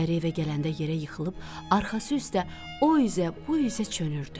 Əri evə gələndə yerə yıxılıb, arxası üstə o üzə, bu üzə çönürdü.